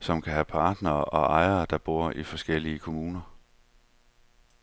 som kan have partnere og ejere, der bor i forskellige kommuner.